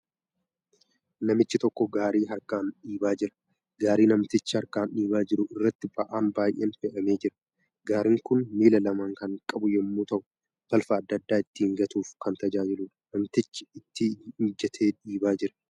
Namichi tokko gaarii harkaan dhiibaa jira. Gaarii namtichi. harkaan dhiibaa jiru irratti ba'aan baay'een fe'amee jira. Gaariin kun miila lama kan qabu yemmuu ta'u balfa adda addaa ittiin gatuuf kan. tajaajiluudha. Namtichi itti injatee dhiibaa jira.